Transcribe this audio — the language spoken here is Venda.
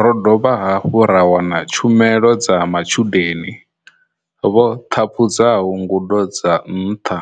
Ro dovha hafhu ra wana tshu melo dza matshudeni vho ṱhaphudzaho ngudo dza nṱha